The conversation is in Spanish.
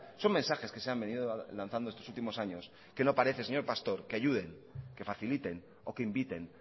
son mensajes que se han venido lanzando estos últimos años que no parece señor pastor que ayuden que faciliten o que inviten